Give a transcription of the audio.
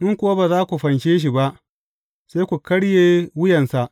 In kuwa ba za ku fanshe shi ba, sai ku karye wuyansa.